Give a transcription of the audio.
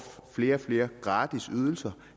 flere og flere gratis ydelser